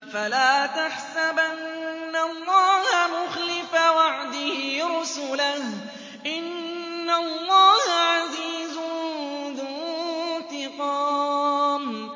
فَلَا تَحْسَبَنَّ اللَّهَ مُخْلِفَ وَعْدِهِ رُسُلَهُ ۗ إِنَّ اللَّهَ عَزِيزٌ ذُو انتِقَامٍ